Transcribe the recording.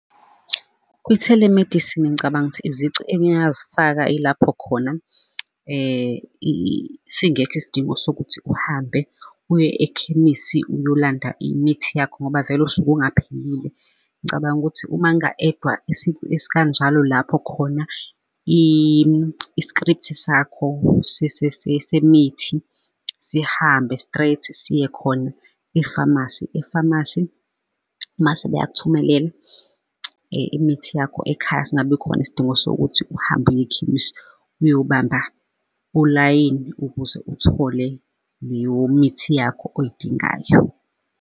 Kwi-telemedicine ngicabanga ukuthi izici engingazifaka ilapho khona singekho isidingo sokuthi uhambe uye ekhemisi, uyolanda imithi yakho ngoba vele usuke ungaphilile. Ngicabanga ukuthi uma kunga edwa isifo esikanjalo lapho khona i-script-i sakho semithi, sihambe straight siye khona, e-pharmacy, e-pharmacy mase bayakuthumelela imithi yakho ekhaya, singabikhona isidingo sokuthi uhambe uye ekhemisi uyobamba olayini ukuze uthole leyo mithi yakho oyidingayo.